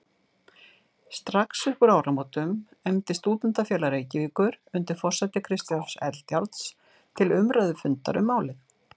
Strax uppúr áramótum efndi Stúdentafélag Reykjavíkur undir forsæti Kristjáns Eldjárns til umræðufundar um málið.